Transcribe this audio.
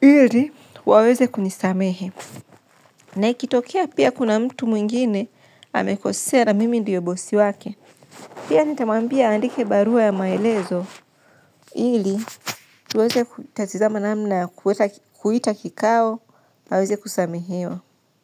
Ili, waweze kunisamehe. Na ikitokea pia kuna mtu mwingine amekosea na mimi ndiyo bosi wake. Pia nitamwambia andike barua ya maelezo. Ili, tuweze katizama namna kuita kikao, waweze kusamehewa.